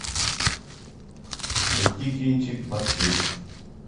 найти кинчик маркиз